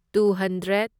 two hundred